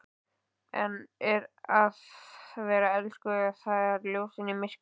En að vera elskuð- það er ljósið í myrkrinu!